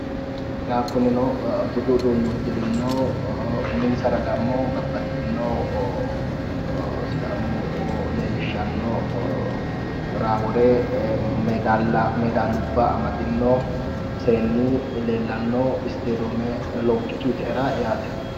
yawu kunino budu uduunne uddirino uminsarano dammo babbaxino sidaamu leellishshanno raa wore medaalubba amadino seenni leellanno istadoome loggituyiitera yaate